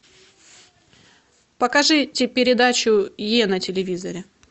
покажите передачу е на телевизоре